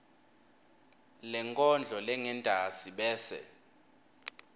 lenkondlo lengentasi bese